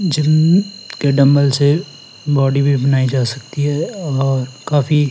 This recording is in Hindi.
जिम के डंबल है। बॉडी भी बनाई जा सकती है और काफी--